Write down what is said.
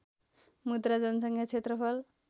मुद्रा जनसङ्ख्या क्षेत्रफल